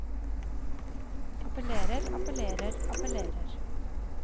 appellerer appellerer appellerer